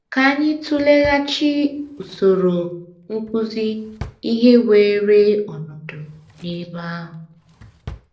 Ka anyị tụleghachi usoro nkụzi ihe weere ọnọdụ n’ebe ahụ.